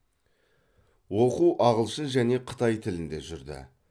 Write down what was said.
оқу ағылшын және қытай тілінде жүрді